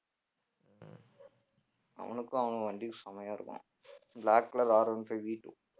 அவனுக்கும் அவன் வண்டி செமயா இருக்கும் black colourRone fiveVtwo